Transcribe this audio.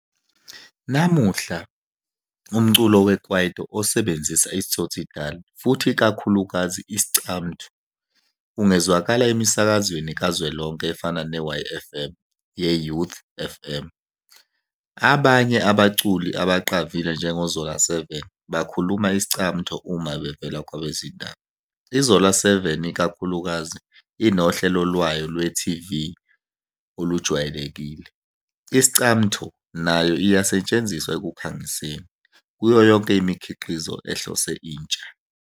Namuhla, umculo wekwaito osebenzisa i-tsotsitaal futhi ikakhulukazi i-Iscamtho ungezwakala emisakazweni kazwelonke efana ne-YFM, ye-Youth FM. Abanye abaculi abaqavile njengoZola7 bakhuluma Iscamtho uma bevela kwabezindaba, iZola7 ikakhulukazi inohlelo lwayo lweTV olujwayelekile. I-Iscamtho nayo iyasetshenziswa ekukhangiseni, kuyo yonke imikhiqizo ehlose intsha.